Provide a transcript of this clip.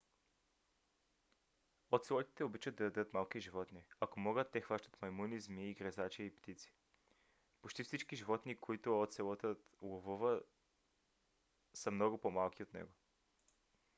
оцелотите обичат да ядат малки животни. ако могат те хващат маймуни змии гризачи и птици. почти всички животни които оцелотът ловува са много по-малки от него